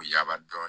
Yaba dɔɔni